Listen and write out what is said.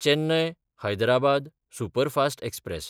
Chennai Hyderabad superfast express